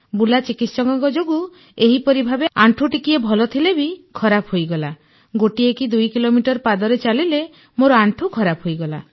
ବୁଲା ଚିକିତ୍ସକଙ୍କ ଯୋଗୁଁ ଏହିପରି ଭାବେ ଆଣ୍ଠୁ ଟିକିଏ ଭଲ ଥିଲେ ବି ଖରାପ ହୋଇଗଲା ଗୋଟିଏ କି ଦୁଇ କିଲୋମିଟର ପାଦରେ ଚାଲିଲେ ମୋର ଆଣ୍ଠୁ ଖରାପ ହୋଇଗଲା